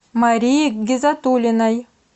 марии гизатуллиной